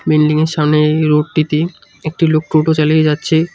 বিল্ডিংয়ের সামনে এই রোডটিতে একটি লোক টোটো চালিয়ে যাচ্ছে।